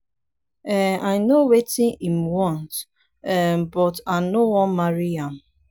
um i know wetin im want um but i no wan marry am.